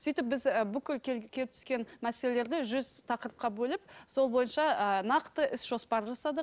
сөйтіп біз і бүкіл келіп түскен мәселелерді жүз тақырыпқа бөліп сол бойынша ы нақты іс жоспар жасадық